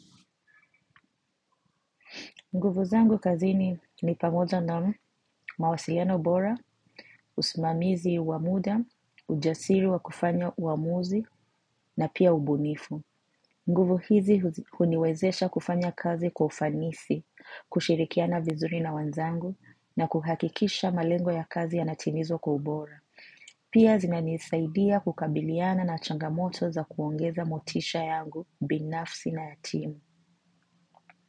Nguvu zangu kazini ni pamoja na mawasiliano ubora, usimamizi wa muda, ujasiri wa kufanya uamuzi, na pia ubunifu. Nguvu hizi huniwezesha kufanya kazi kwa ufanisi, kushirikiana vizuri na wenzangu, na kuhakikisha malengo ya kazi yanatimizwa kwa ubora. Pia zinanisaidia kukabiliana na changamoto za kuongeza motisha yangu binafsi na ya timu.